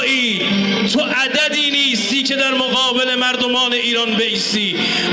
Sən bir ədəd deyilsən ki, İran xalqının qabağında durasan.